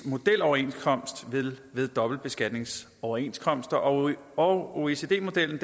modeloverenskomst ved dobbeltbeskatningsoverenskomster og og oecd modellen